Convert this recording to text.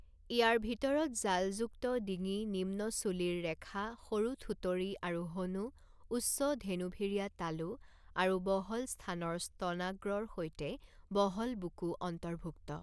ইয়াৰ ভিতৰত জালযুক্ত ডিঙি নিম্ন চুলিৰ ৰেখা সৰু থুঁতৰি আৰু হনু উচ্চ ধেনুভিৰীয়া তালু আৰু বহল স্থানৰ স্তনাগ্ৰৰ সৈতে বহল বুকু অন্তৰ্ভুক্ত।